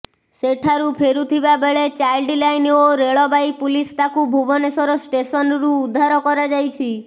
ସେଠାରୁ ଫେରୁଥିବା ବେଳେ ଚାଇଲ୍ଡ ଲାଇନ୍ ଓ ରେଳବାଇ ପୁଲିସ୍ ତାକୁ ଭୁବନେଶ୍ୱର ଷ୍ଟେସନ୍ରୁ ଉଦ୍ଧାର କରାଯାଇଛି